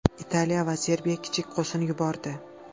Italiya va Serbiya kichik qo‘shin yubordi.